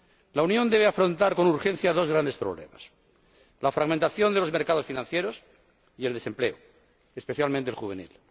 La Unión debe afrontar con urgencia dos grandes problemas la fragmentación de los mercados financieros y el desempleo, especialmente el juvenil.